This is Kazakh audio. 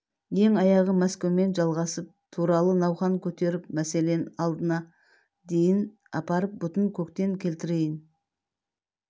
ең аяғы мәскеумен жалғасып туралы науқан көтеріп мәселен алдына дейін апарып бұтын көктен келтірейін